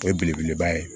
O ye belebeleba ye